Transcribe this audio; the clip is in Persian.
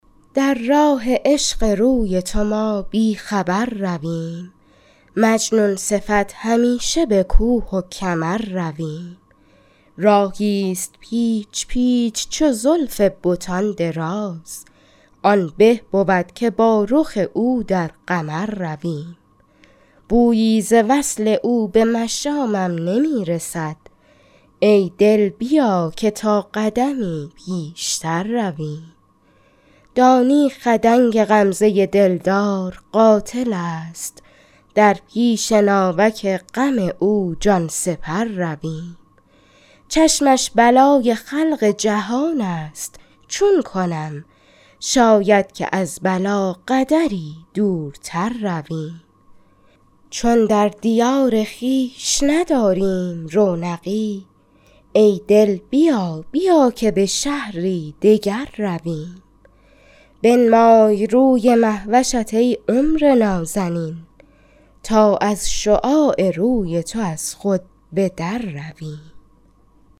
در راه عشق روی تو ما بی خبر رویم مجنون صفت همیشه به کوه و کمر رویم راهیست پیچ پیچ چو زلف بتان دراز آن به بود که با رخ او در قمر رویم بویی ز وصل او به مشامم نمی رسد ای دل بیا که تا قدمی پیشتر رویم دانی خدنگ غمزه دلدار قاتلست در پیش ناوک غم او جان سپر رویم چشمش بلای خلق جهانست چون کنم شاید که از بلا قدری دورتر رویم چون در دیار خویش نداریم رونقی ای دل بیا بیا که به شهری دگر رویم بنمای روی مهوشت ای عمر نازنین تا از شعاع روی تو از خود به در رویم